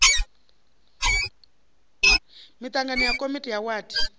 miṱangano ya komiti ya wadi